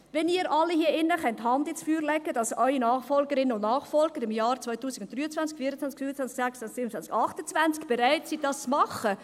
Wenn Sie alle die Hand ins Feuer legen können, dass Ihre Nachfolgerinnen und Ihre Nachfolger in den Jahren 2023, 2024, 2025, 2026, 2027 und 2028 bereit sind, dies zu machen …